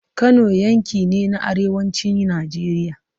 Kano yanki ne na arewacin Najeriya.